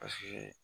Paseke